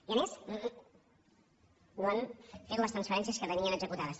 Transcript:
i a més no han fet les transferències que tenien executades